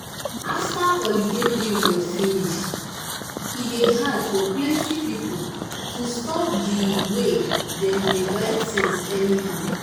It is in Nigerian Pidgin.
after holiday period finish e dey hard for plenty people to stop the way dem dey buy things anyhow.